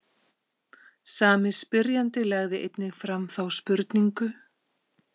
Sami spyrjandi lagði einnig fram þá spurningu.